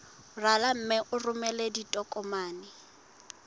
rala mme o romele ditokomene